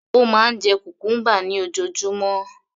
Ó máa ń jẹ cucumber ní ojoojúmọ́